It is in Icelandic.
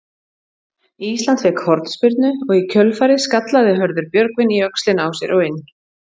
Ísland fékk hornspyrnu og í kjölfarið skallaði Hörður Björgvin í öxlina á sér og inn.